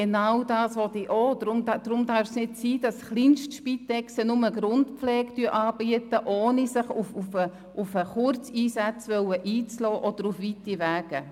Genau dies will ich auch, deshalb darf es nicht sein, dass Kleinstorganisationen nur die Grundpflege anbieten, ohne sich auf Kurzeinsätze einzulassen oder weite Wege auf sich zu nehmen.